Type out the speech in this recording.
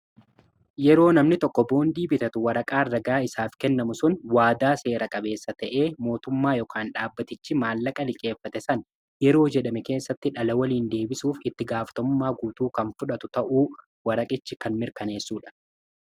Yeroo namni tokko boondii bitatu waraqaa ragaa isaaf kennamu sun waadaa seera qabeessa ta'ee mootummaa yookiin dhaabbatichi maallaqa liqeeffate san yeroo jedhame keessatti dhala waliin deebisuuf itti gaafatamummaa guutuu kan fudhatu ta'uu waraqichi kan mirkaneessuudha.